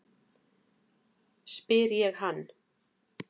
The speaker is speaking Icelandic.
spyr ég hann.